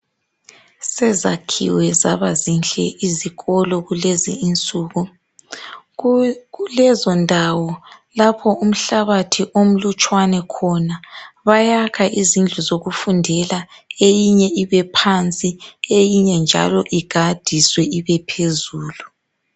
Sezakhiwe zabazinhle izikolo kulezi insuku. Kulezondawo lapho umhlabathi omlutshwana khona bayakha izindlu zokufundela eyinye ibephansi eyinye njalo igadiswe ibephezulu.